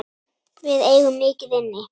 Við eigum mikið inni.